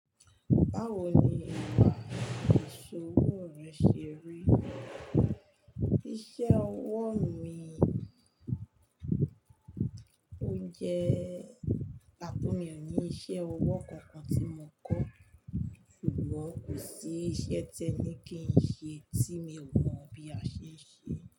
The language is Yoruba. Báwo ni ìwà ìṣòwò rẹ ṣe rí? Iṣẹ́ ọwọ́ mi, ó jẹ́ atúnmọ̀ ní iṣẹ́ ọwọ́ kankan tí mo kọ́, ṣùgbọ́n kò sí iṣẹ́ tẹni kí n ṣe tí mi ò mọ̀ bí a ṣe ń ṣe.